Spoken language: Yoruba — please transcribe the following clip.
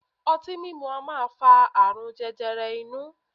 Ọtí mimu a maa fa aarun jẹjẹrẹ inu